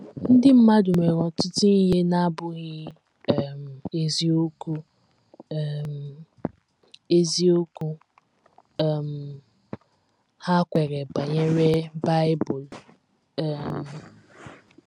“ Ndị mmadụ nwere ọtụtụ ihe na - abụghị um eziokwu um eziokwu um ha kweere banyere Bible um.